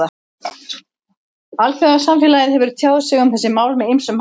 Alþjóðasamfélagið hefur tjáð sig um þessi mál með ýmsum hætti.